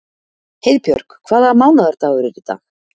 Heiðbjörg, hvaða mánaðardagur er í dag?